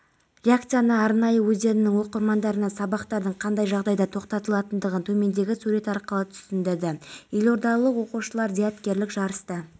қайрат құдайбергенұлы сирия жеріне бітімгерлік әскерді жіберу бойынша ресми келіссөздердің жүргізілмей жатқанын тағы бір мәрте еске